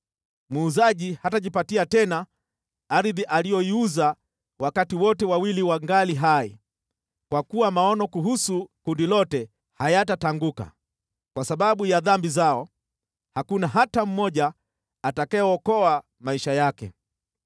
Muuzaji hatajipatia tena ardhi aliyoiuza wakati wote wawili wangali hai, kwa kuwa maono kuhusu kundi lote hayatatanguka. Kwa sababu ya dhambi zao, hakuna hata mmoja atakayeokoa maisha yake.